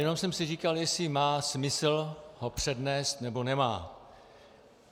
Jenom jsem si říkal, jestli má smysl ho přednést, nebo nemá.